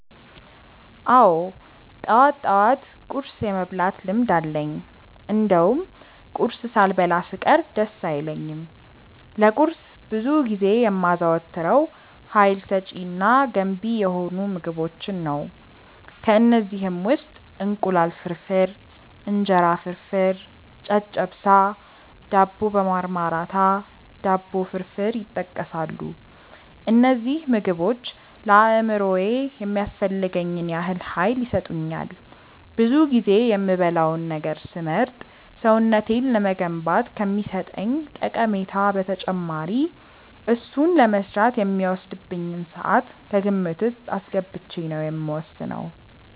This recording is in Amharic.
አዎ ጠዋት ጠዋት ቁርስ የመብላት ልምድ አለኝ እንደውም ቁርስ ሳልበላ ስቀር ደስ አይለኝም። ለቁርስ ብዙ ጊዜ የማዘወትረው ሀይል ሰጪ እና ገንቢ የሆኑ ምግቦችን ነው። ከእነዚህም ውስጥ እንቁላል ፍርፍር፣ እንጀራ ፍርፍር፣ ጨጨብሳ፣ ዳቦ በማርማራታ፣ ዳቦ ፍርፍር ይጠቀሳሉ። እነዚህ ምግቦች ለአእምሮዬ የሚያስፈልገኝን ያህል ሀይል ይሰጡኛል። ብዙ ጊዜ የምበላውን ነገር ስመርጥ ሰውነቴን ለመገንባት ከሚሰጠኝ ጠቀሜታ በተጨማሪ እሱን ለመስራት የሚወስድብኝን ስዓት ከግምት ውስጥ አስገብቼ ነው የምወስነው።